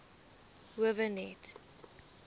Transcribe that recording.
howe net